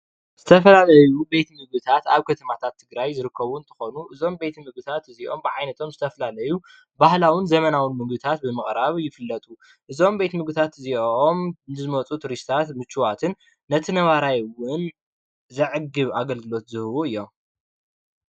ዝተፈላለዩ ቤት ምግብታት ኣብ ከተማታት ትግራይ ዝርከቡ እንትኮኑ እዞም ቤት ምግብታት እዚኦም ብዓይነቶም ዝተፈላለዩ ባህላውን ዘመናውን ምግብታት ብምቅራብ ይፍለጡ፡፡ እዞም ቤት ምግብታት እዚኦም ንዝመፁ ቱሪስትታት ምችዋትን ነቲ ነባራይ እውን ዘዕግብ ኣገልግሎት ዝህቡ እዮም፡፡